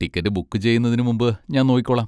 Ticket book ചെയ്യുന്നതിന് മുമ്പ് ഞാൻ നോക്കിക്കോളാം.